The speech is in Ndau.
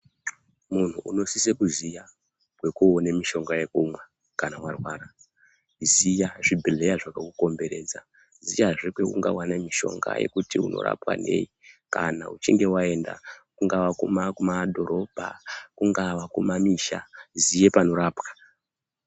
Munhu unosise kuziya kweko one mishonga yekumwa kana wa rwara kuziya zvibhedhleya zvakaku komberedza kuziya zve kweunga wane mishonga yekuti uno rwapa nei kana uchinge waenda kungava ku madhorobha kungava ku mamisha ziye panorapwa.